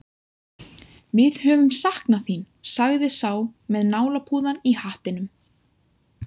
Við höfum saknað þín, sagði sá með nálapúðann í hattinum.